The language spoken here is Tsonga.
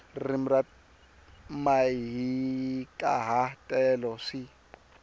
ririmi na mahikaha telo swi